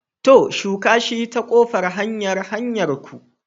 To! shuka shi ta ƙofan hanyar hanyarku.